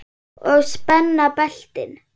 Og spenna beltin.